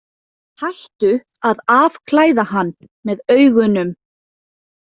Hættu að afklæða hann með augunum!